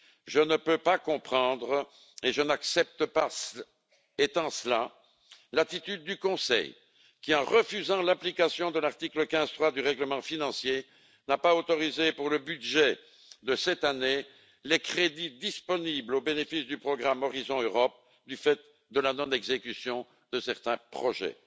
Je ne peux pas comprendre et je n'accepte pas l'attitude du Conseil qui, en refusant l'application de l'article 15, paragraphe 3, du règlement financier, n'a pas autorisé pour le budget de cette année les crédits disponibles au bénéfice du programme Horizon Europe, du fait de la non exécution de certains projets.